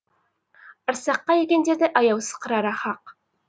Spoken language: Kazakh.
арсаққа ергендерді аяусыз қырары хақ